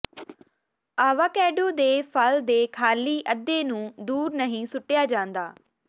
avocado ਦੇ ਫਲ ਦੇ ਖਾਲੀ ਅੱਧੇ ਨੂੰ ਦੂਰ ਨਹੀਂ ਸੁੱਟਿਆ ਜਾਂਦਾ